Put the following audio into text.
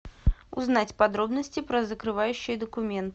узнать подробности про закрывающие документы